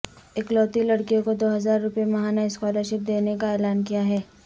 اکلوتی لڑکیوں کو دوہزار روپیے ماہانہ اسکالر شپ دینے کا اعلان کیا ہے